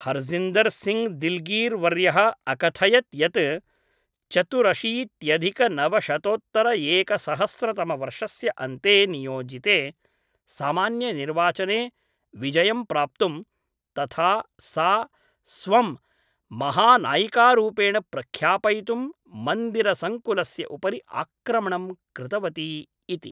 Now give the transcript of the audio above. हर्जिन्दर् सिङ्घ् दिल्गीर् वर्यः अकथयत् यत्, चतुरशीत्यधिकनवशतोत्तरएकसहस्रतमवर्षस्य अन्ते नियोजिते सामान्यनिर्वाचने विजयं प्राप्तुं, तथा सा स्वं महानायिकारूपेण प्रख्यापयितुं मन्दिरसङ्कुलस्य उपरि आक्रमणं कृतवती इति।